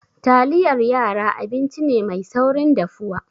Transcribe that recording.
Taliyar yara abinci ne mai saurin dafuwa.